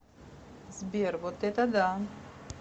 сбер вот это да